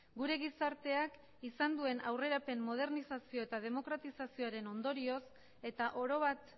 gure gizarteak izan duen aurrerapen modernizazio eta demokratizazioaren ondorioz eta oro bat